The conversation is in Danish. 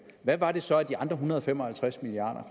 hvad var det så af de en hundrede og fem og halvtreds milliard